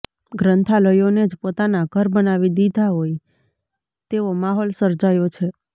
ગ્રંથાલયોને જ પોતાના ઘર બનાવી દીધા હોય તેવો માહોલ સર્જાયો છે